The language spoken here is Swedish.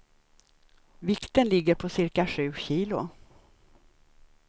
Vikten ligger på cirka sju kilo.